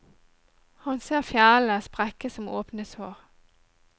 Han ser fjellene sprekke som åpne sår.